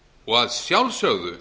og að sjálfsögðu